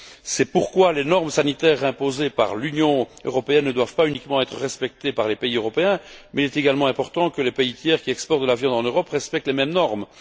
C'est pourquoi les normes sanitaires imposées par l'Union européenne ne doivent pas être uniquement respectées par les pays européens, mais il est également important que les pays tiers qui exportent de la viande en Europe respectent les mêmes normes.